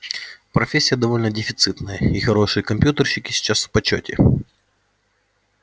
профессия довольно дефицитная и хорошие компьютерщики сейчас в почёте